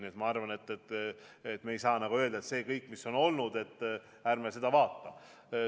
Nii et ma arvan, et me ei saa öelda, et ärme vaatame kõike seda, mis on tehtud.